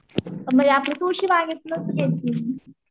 म्हणजे आपली तुळशी बागेतूनच घेतली मी.